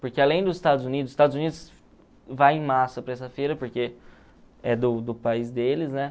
Porque além dos Estados Unidos, os Estados Unidos vai em massa para essa feira, porque é do do país deles, né?